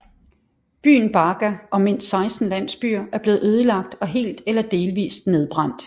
Byen Baga og mindst 16 landsbyer er blevet ødelagt og helt eller delvis nedbrændt